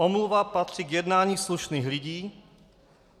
Omluva patří k jednání slušných lidí.